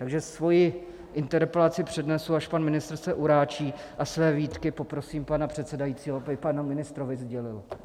Takže svoji interpelaci přednesu, až pan ministr se uráčí, a své výtky poprosím pana předsedajícího, aby panu ministrovi sdělil.